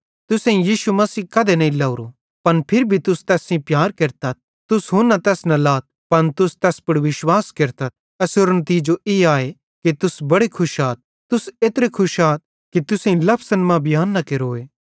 तुसेईं यीशु मसीह कधे नईं लवरो पन फिरी भी तुस तैस सेइं प्यार केरतथ तुस हुना तैस ना लाथ पन तुस तैस पुड़ विश्वास केरतथ एसेरो नितिजो ई आए कि तुस बड़े खुश आथ तुस एत्रे खुश आथ कि लफज़न मां बियांन न केरोए